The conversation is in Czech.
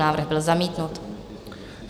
Návrh byl zamítnut.